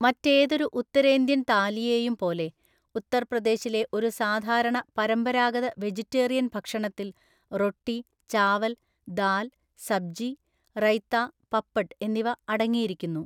മറ്റേതൊരു ഉത്തരേന്ത്യൻ താലിയെയും പോലെ ഉത്തർപ്രദേശിലെ ഒരു സാധാരണ പരമ്പരാഗത വെജിറ്റേറിയൻ ഭക്ഷണത്തിൽ റൊട്ടി, ചാവൽ, ദാൽ, സബ്ജി, റൈത്ത, പപ്പഡ് എന്നിവ അടങ്ങിയിരിക്കുന്നു.